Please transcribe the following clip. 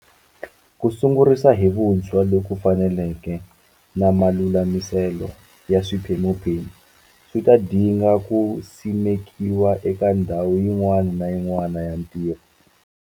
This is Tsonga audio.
Ku sungurisa hi vuntshwa loku faneleke na malulamiselo ya swiphemuphemu swi ta dinga ku simekiwa eka ndhawu yin'wana na yin'wana ya ntirho.